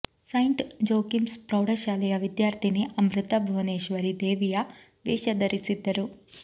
Saint Joachim's ಪ್ರೌಢಶಾಲೆಯ ವಿದ್ಯಾರ್ಥಿನಿ ಅಮೃತ ಭುವನೇಶ್ವರಿ ದೇವಿಯ ವೇಷ ಧರಿಸಿದ್ದರು